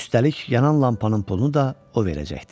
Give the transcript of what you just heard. Üstəlik yanan lampanın pulunu da o verəcəkdi.